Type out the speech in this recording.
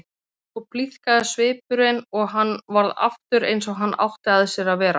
Svo blíðkaðist svipurinn og hann varð aftur eins og hann átti að sér að vera.